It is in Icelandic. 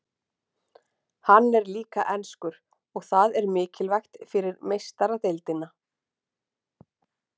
Hann er líka enskur og það er mikilvægt fyrir Meistaradeildina.